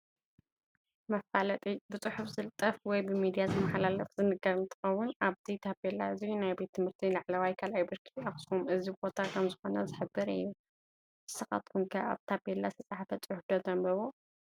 መፋለጢ፡- ብፅሑፍ ዝልጠፍ ወይ ብሚድያ ዝመሓላለፍን ዝንገርን እንትኸውን ኣብዚ ታፔላ እዚ ናይ ቤት ትምህርቲ ላዕለዋይ 2ይ ብርኪ ኣክሱም እዚ ቦታ ከምዝኾነ ዝሕብር እዩ፡፡ ንስኻትኩም ከ ኣብ ታፔላ ዝተፃሓፈ ፅሑፍ ዶ ተንብቡ?